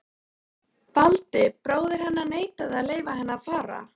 Valdi, bróðir hennar, neitaði að leyfa henni að fara.